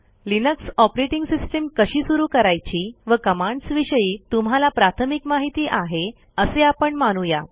Linux operating system कशी सुरू करायची व कमांड्स विषयी तुम्हाला प्राथमिक माहिती आहे असे आपण मानू या